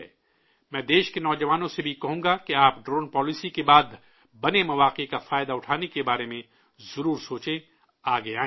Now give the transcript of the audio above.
میں ملک کے نوجوانوں سے بھی کہوں گا کہ آپ ڈرون پالیسی کے بعد بنے مواقع کا فائدہ اٹھانے کے بارے میں ضرور سوچیں، آگے آئیں